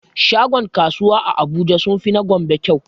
Shagon kasuwan abuja sunfi na gombe kyau